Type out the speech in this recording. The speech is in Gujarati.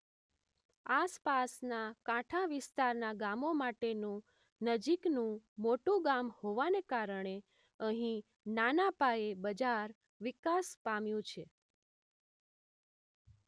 આસપાસનાં કાંઠા વિસ્તારનાં ગામો માટેનું નજીકનું મોટું ગામ હોવાને કારણે અહીં નાના પાયે બજાર વિકાસ પામ્યું છે